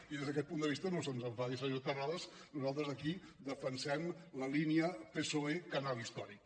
i des d’aquest punt de vista no se’ns enfadi senyor terrades nosaltres aquí defensem la línia psoe canal històric